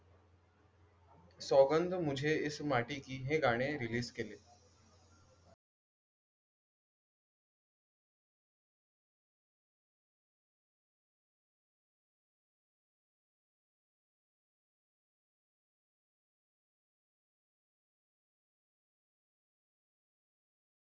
सौगंध मुझे इस माटी की, हे गाणे रिलीज केले.